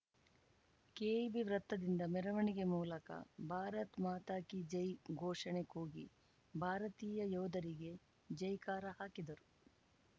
KEB ವೃತ್ತದಿಂದ ಮೆರವಣಿಗೆ ಮೂಲಕ ಭಾರತ್‌ ಮಾತಾ ಕೀ ಜೈ ಘೋಷಣೆ ಕೂಗಿ ಭಾರತೀಯ ಯೋಧರಿಗೆ ಜೈ ಕಾರ ಹಾಕಿದರು